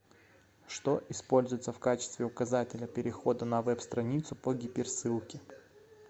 что используется в качестве указателя перехода на веб страницу по гиперссылке